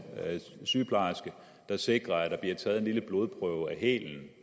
sygeplejerske der sikrer at der bliver taget en lille blodprøve af